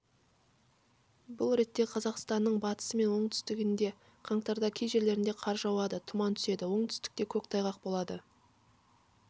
бұл ретте қазақстанның батысы мен оңтүстігінде қаңтарда кей жерлерінде қар жауады тұман түседі оңтүстікте көктайғақ болады